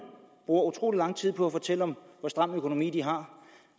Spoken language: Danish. bruger utrolig lang tid på at fortælle om hvor stram en økonomi de har